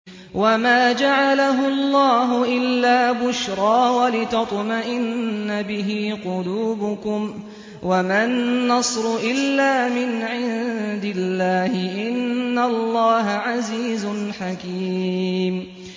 وَمَا جَعَلَهُ اللَّهُ إِلَّا بُشْرَىٰ وَلِتَطْمَئِنَّ بِهِ قُلُوبُكُمْ ۚ وَمَا النَّصْرُ إِلَّا مِنْ عِندِ اللَّهِ ۚ إِنَّ اللَّهَ عَزِيزٌ حَكِيمٌ